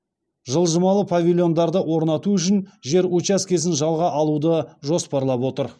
жылжымалы павильондарды орнату үшін жер учаскесін жалға алуды жоспарлап отыр